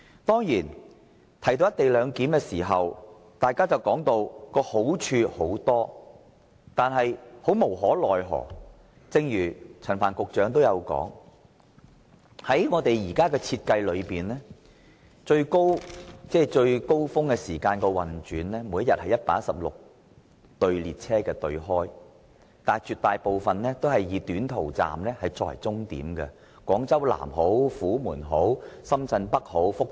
當然，大家會說道"一地兩檢"有很多好處，但無可奈何的是，正如陳帆局長也說道，在現時的設計下，高峰期是每天開出116對列車，但大部分均以短途班次為主，來往廣州南站、虎門、深圳北、福田。